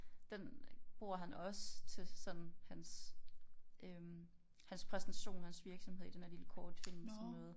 Den bruger han også til sådan hans øh hans præsentation af hans virksomhed i den her lille kortfilm sådan noget